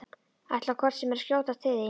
Ætlaði hvort sem er að skjótast til þín.